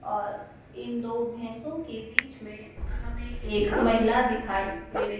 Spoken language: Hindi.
और इन दो भैंसों के बीच में हमें एक महिला दिखाई दे रही--